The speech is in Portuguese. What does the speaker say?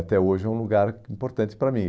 Até hoje é um lugar importante para mim.